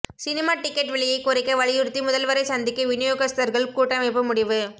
cinema ticket விலையை குறைக்க வலியுறுத்தி முதல்வரை சந்திக்க விநியோகஸ்தர்கள் கூட்டமைப்பு முடிவு